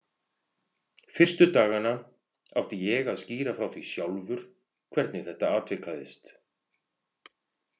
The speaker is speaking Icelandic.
Fyrstu dagana átti ég að skýra frá því sjálfur, hvernig þetta atvikaðist.